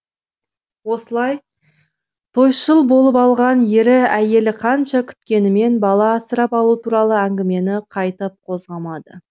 осылай тойшыл болып алған ері әйелі қанша күткенімен бала асырап алу туралы әңгімені қайтып қозғамады